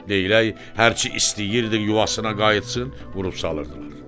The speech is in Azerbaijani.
Leylək hərçi istəyirdi yuvasına qayıtsın, vurub salırdılar.